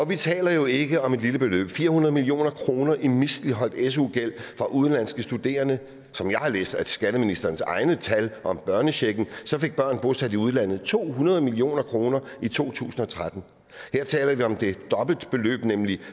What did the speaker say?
vi taler jo ikke om et lille beløb fire hundrede million kroner i misligholdt su gæld fra udenlandske studerende som jeg har læst af skatteministerens egne tal om børnechecken fik børn bosat i udlandet to hundrede million kroner i to tusind og tretten her taler vi om et dobbelt beløb nemlig